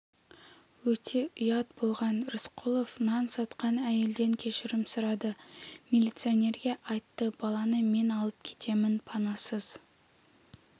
өте ұят болған рысқұлов нан сатқан әйелден кешірім сұрады милиционерге айтты баланы мен алып кетемін панасыз